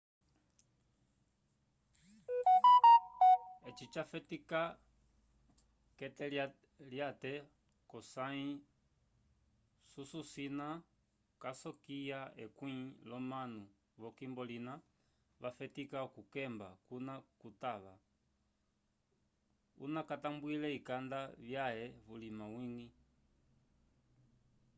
eci jafetica kete lyate cosay susu cina casokya ekwĩ lyomanu vokimbo lina va fetica oku kekemba cuna cutava una catambwile ikanda vyaei vulima wigi